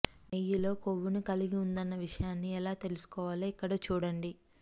నెయ్యిలో కొవ్వును కలిగి ఉందన్న విషయాన్ని ఎలా తెలుసుకోవాలో ఇక్కడ చూడండి